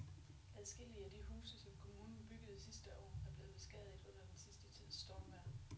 Adskillige af de huse, som kommunen byggede sidste år, er blevet beskadiget under den sidste tids stormvejr.